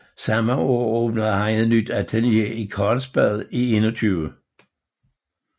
Samme år åbnede han et nyt atelier i Karlsbad 21